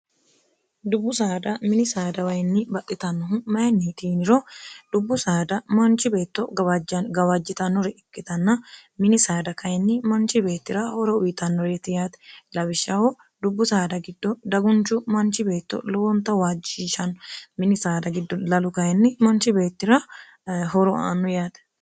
dubbu saada mini saada wayinni baxxitannohu mayinni tiiniro dubbu saada manchi beetto gwbajj gawaajjitannore ikkitanna mini saada kayinni manchi beettira horo uwitannoreeti yaate labishshaho dubbu saada giddo dagunchu manchi beetto lowonta waajjishan minisaada giddo lalu kayinni manchi beettira horo aannu yaate